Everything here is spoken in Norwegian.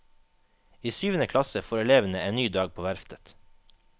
I syvende klasse får elevene en ny dag på verftet.